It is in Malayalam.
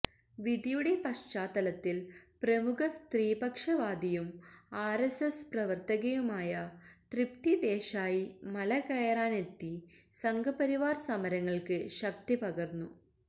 വിധിയുടെ പശ്ചാത്തലത്തിൽ പ്രമുഖ സ്ത്രീപക്ഷ വാദിയും ആർഎസ്എസ് പ്രവർത്തകയുമായ തൃപ്തി ദേശായി മലകയറാനെത്തി സംഘ്പരിവാർ സമരങ്ങൾക്ക് ശക്തിപകർന്നു